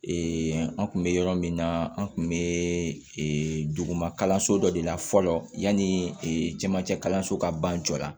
an kun bɛ yɔrɔ min na an kun bɛ duguma kalanso dɔ de la fɔlɔ yanni camancɛ kalanso ka ban jɔ la